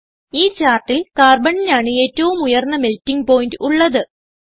ഈ ചാർട്ടിൽ Carbonനാണ് ഏറ്റവും ഉയർന്ന മെൽട്ടിങ് പോയിന്റ് ഉള്ളത്